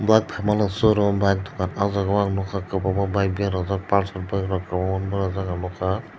bike faima no show room bike dokan o jaga ang nogka kobang ma bike berajak palsar bike rok kobangma berajak ang nogka.